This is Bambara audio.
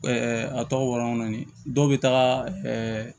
a tɔgɔ walankɔrɔni dɔw bɛ taga